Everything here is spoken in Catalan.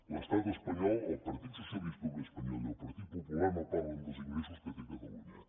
l’estat espanyol el partit socialista obrer espanyol i el partit popular no parlen dels ingressos que té catalunya